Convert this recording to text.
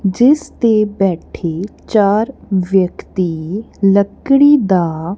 ਜਿੱਸ ਤੇ ਬੈਠੇ ਚਾਰ ਵਿਅਕਤੀ ਲੱਕੜੀ ਦਾ--